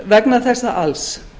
vegna þess alls